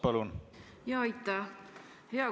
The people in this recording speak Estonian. Hea komisjonikaaslane!